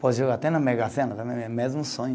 Pode jogar até na Mega Sena também, é o mesmo sonho.